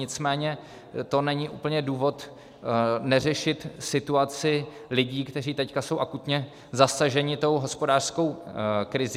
Nicméně to není úplně důvod neřešit situaci lidí, kteří teď jsou akutně zasaženi tou hospodářskou krizí.